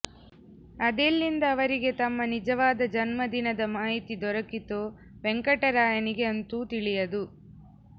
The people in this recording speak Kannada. ಅದೆಲ್ಲಿಂದ ಅವರಿಗೆ ತಮ್ಮ ನಿಜವಾದ ಜನ್ಮದಿನದ ಮಾಹಿತಿ ದೊರಕಿತೋ ವೆಂಕಟರಾಯನಿಗೆ ಅಂತೂ ತಿಳಿಯದು